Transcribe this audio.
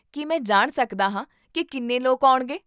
ਕੀ ਮੈਂ ਜਾਣ ਸਕਦਾ ਹਾਂ ਕੀ ਕਿੰਨੇ ਲੋਕ ਆਉਣਗੇ?